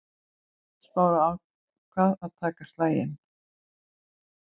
Smári ákvað að taka slaginn.